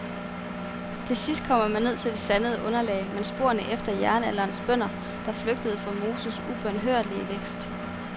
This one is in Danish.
Til sidst kommer man ned til det sandede underlag med sporene efter jernalderens bønder, der flygtede for mosens ubønhørlige vækst.